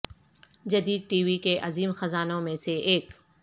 جدید TV کے عظیم خزانوں میں سے ایک